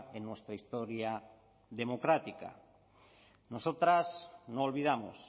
en nuestra historia democrática nosotras no olvidamos